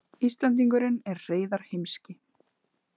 Íslendingurinn er Hreiðar heimski.